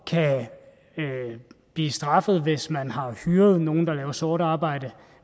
kan blive straffet hvis man har hyret nogen der laver sort arbejde